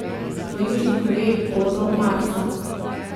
V Južni Koreji bodo marca.